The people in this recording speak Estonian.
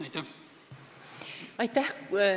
Aitäh!